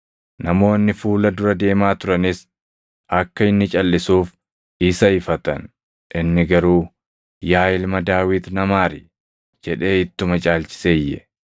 Namoonni fuula dura deemaa turanis akka inni calʼisuuf isa ifatan; inni garuu, “Yaa ilma Daawit na maari!” jedhee ittuma caalchisee iyye.